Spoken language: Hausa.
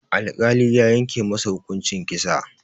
Alkali ya yanke masa hukuncin kisa.